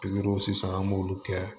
Pikiriw sisan an b'olu kɛ